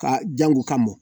Ka jango ka mɔ